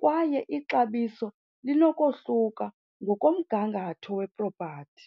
kwaye ixabiso linokohluka ngokomgangatho wepropathi.